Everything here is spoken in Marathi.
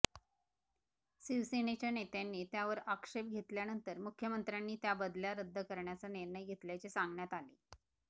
शिवसेनेच्या नेत्यांनी त्यावर आक्षेप घेतल्यानंतर मुख्यमंत्र्यांनी त्या बदल्या रद्द करण्याचा निर्णय घेतल्याचे सांगण्यात आले